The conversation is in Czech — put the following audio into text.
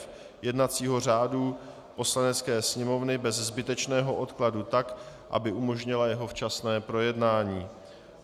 f) jednacího řádu Poslanecké sněmovny bez zbytečného odkladu tak, aby umožnila jeho včasné projednání.